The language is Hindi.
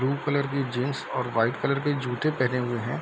ब्लू कलर के जीन्स और व्हाइट कलर के जूते पहने हुए है।